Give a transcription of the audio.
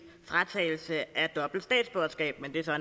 fratagelse af dobbelt statsborgerskab men det er så